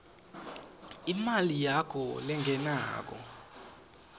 imali yakho lengenako